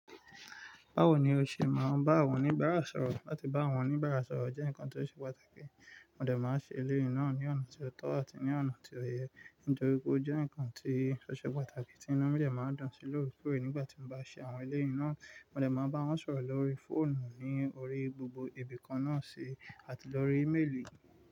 Báwo ni o ṣe máa ń bá awọn oníbára sọ̀rọ̀? Láti bá awọn onìbára sọ̀rọ̀ jẹ́ nǹkan tó ṣe pàtàkì. Mo dẹ̀ máa ṣe eléyi ná ni ọ̀nà tó tọ́ àti ní ọ̀nà tó yẹ̀ ẹ́, nítorí pé ó jẹ́ nǹkan tí ọo se pàtàkì tí inu mi de máa ń dun sí lórí kore. Nígbà tí mo bá ṣe àwọn eléyi ná, mo dẹ̀ máa bá wọn sọ̀rọ̀ lórí fóònù ní orí gbogbo ibìkan náà sí àti lórí íméèlì.